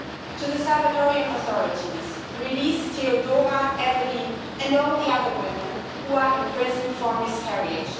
To the Salvadorian authorities release Teodora, Evelyn and all the other women who are in prison for a miscarriage.